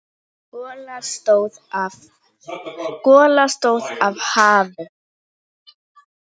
Gola stóð af hafi.